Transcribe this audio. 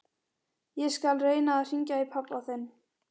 Ég skal reyna að hringja í pabba þinn.